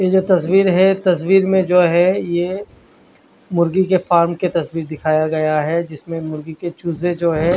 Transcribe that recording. ये एक तस्वीर है तस्वीर में जो है ये मुर्गी के फार्म की तस्वीर दिखाया गया है जिसमे मुर्गी के चूजे जो है।